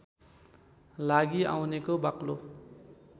लागि आउनेको बाक्लो